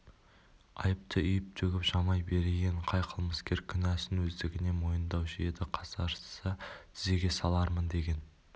айыпты үйіп-төгіп жамай берейін қай қылмыскер кінәсін өздігінен мойындаушы еді қасарысса тізеге салармын деген